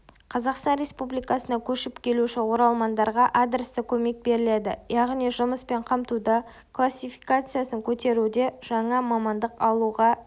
қазақстан республикасына көшіп келуші оралмандарға адресті көмек беріледі яғни жұмыспен қамтуда классификациясын көтеруде жаңа мамандық алуға